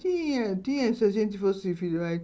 Tinha, tinha, se a gente.